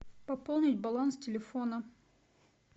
пополнить баланс телефона